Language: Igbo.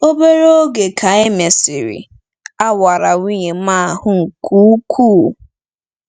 Obere oge ka e mesịrị, a wara nwunye m ahụ́ nke ukwuu.